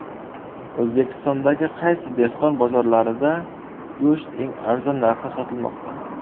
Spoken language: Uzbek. O‘zbekistondagi qaysi dehqon bozorlarida go‘sht eng arzon narxda sotilmoqda?.